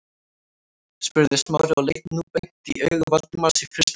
spurði Smári og leit nú beint í augu Valdimars í fyrsta sinn.